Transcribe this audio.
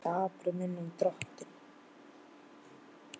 Hann er skapari minn og Drottinn.